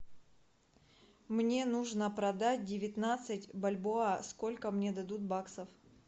мне нужно продать девятнадцать бальбоа сколько мне дадут баксов